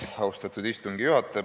Austatud istungi juhataja!